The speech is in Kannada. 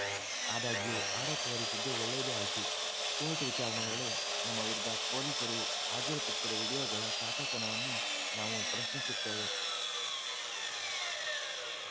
ಆದಾಗ್ಯೂ ಆರೋಪ ಹೊರಿಸಿದ್ದು ಒಳ್ಳೇದೇ ಆಯ್ತು ಕೋರ್ಟ್‌ ವಿಚಾರಣೆ ವೇಳೆ ನಮ್ಮ ವಿರುದ್ಧ ಪೊಲೀಸರು ಹಾಜರುಪಡಿಸಿದ ವಿಡಿಯೋಗಳ ಸಾಚಾತನವನ್ನು ನಾವು ಪ್ರಶ್ನಿಸುತ್ತೇವೆ